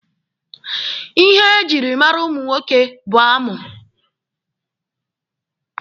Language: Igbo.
Ihe ejiri mara ụmụ nwoke bụ amụ.